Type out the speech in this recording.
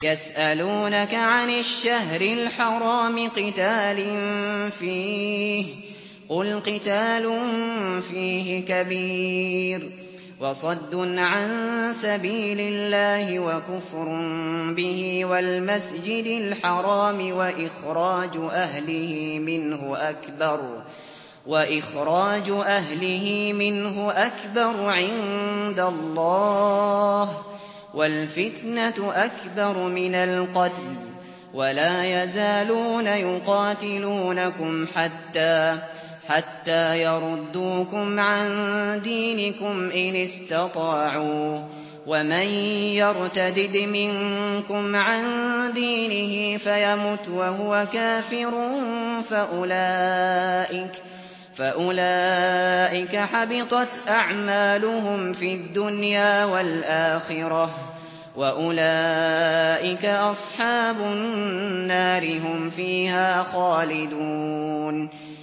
يَسْأَلُونَكَ عَنِ الشَّهْرِ الْحَرَامِ قِتَالٍ فِيهِ ۖ قُلْ قِتَالٌ فِيهِ كَبِيرٌ ۖ وَصَدٌّ عَن سَبِيلِ اللَّهِ وَكُفْرٌ بِهِ وَالْمَسْجِدِ الْحَرَامِ وَإِخْرَاجُ أَهْلِهِ مِنْهُ أَكْبَرُ عِندَ اللَّهِ ۚ وَالْفِتْنَةُ أَكْبَرُ مِنَ الْقَتْلِ ۗ وَلَا يَزَالُونَ يُقَاتِلُونَكُمْ حَتَّىٰ يَرُدُّوكُمْ عَن دِينِكُمْ إِنِ اسْتَطَاعُوا ۚ وَمَن يَرْتَدِدْ مِنكُمْ عَن دِينِهِ فَيَمُتْ وَهُوَ كَافِرٌ فَأُولَٰئِكَ حَبِطَتْ أَعْمَالُهُمْ فِي الدُّنْيَا وَالْآخِرَةِ ۖ وَأُولَٰئِكَ أَصْحَابُ النَّارِ ۖ هُمْ فِيهَا خَالِدُونَ